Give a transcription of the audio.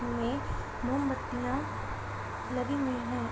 इनमें मोमबत्तिया लगी हुई हैं।